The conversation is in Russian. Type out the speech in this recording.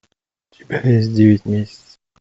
у тебя есть девять месяцев